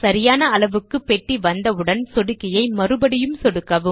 சரியான அளவுக்கு பெட்டி வந்தவுடன் சொடுக்கியை மறுபடியும் சொடுக்கவும்